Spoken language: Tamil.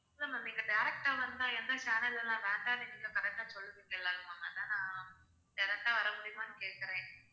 இல்ல ma'am நீங்க direct ஆ வந்தா எந்த channel எல்லாம் வேண்டாம்னு நீங்க correct ஆ சொல்லுவீங்கல்ல அதான் direct ஆ வர முடியுமான்னு கேக்குறேன்